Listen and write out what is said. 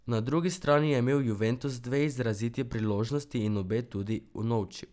Na drugi strani je imel Juventus dve izraziti priložnosti in obe tudi unovčil.